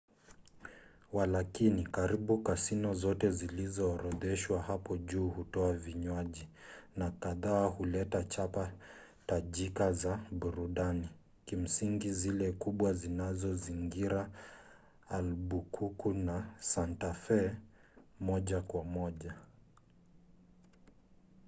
walakini karibu kasino zote zilizoorodheshwa hapo juu hutoa vinywaji na kadhaa huleta chapa tajika za burudani kimsingi zile kubwa zinazozingira albukuku na santa fe moja kwa moja